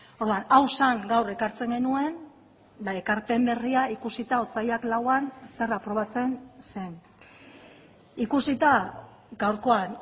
orduan hau zen gaur ekartzen genuen ekarpen berria ikusita otsailak lauan zer aprobatzen zen ikusita gaurkoan